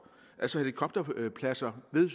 altså helikopterpladser ved